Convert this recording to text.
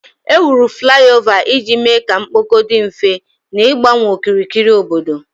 Ewuru fulaiova iji mee ka mkpọkọ dị mfe, na-igbanwe okirikiri obodo.